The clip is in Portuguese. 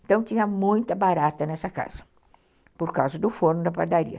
Então tinha muita barata nessa casa, por causa do forno da padaria.